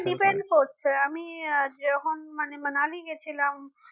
depend করছে আমি যখন মানে Manali গেছিলাম